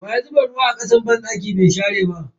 Waya zuba ruwa a kasan banɗaki bai share ba?